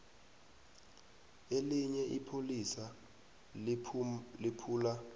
elinye ipholisa liphula